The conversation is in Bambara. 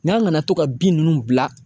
N'an nana to ka bin ninnu bila.